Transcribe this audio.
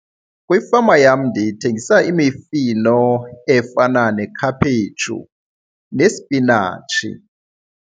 Kwifama yam ndithengisa imifino efana nekhaphetshu nesipinatshi.